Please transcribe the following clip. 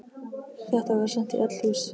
Þetta var sent í öll hús!